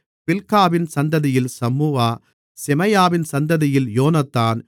பில்காவின் சந்ததியில் சம்முவா செமாயாவின் சந்ததியில் யோனத்தான்